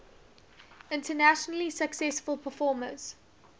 internationally successful performers